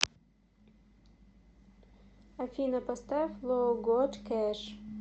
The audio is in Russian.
афина поставь лоуготкэш